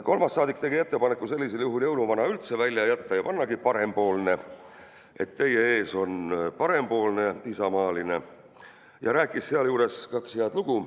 Kolmas saadik tegi ettepaneku sel juhul "jõuluvana" üldse välja jätta ja pannagi "parempoolne", et "teie ees on parempoolne isamaaline", ja rääkis sinna juurde ka kaks head lugu.